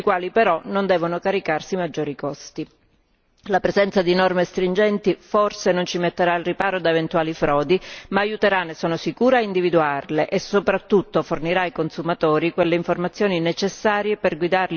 La presenza di norme stringenti forse non ci metterà al riparo da eventuali frodi ma aiuterà, ne sono sicura, a individuarle e soprattutto fornirà ai consumatori quelle informazioni necessarie per guidarli verso una scelta dei prodotti più consapevole e più sicura.